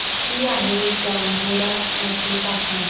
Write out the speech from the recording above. किती आहे जांभोरा मध्ये तापमान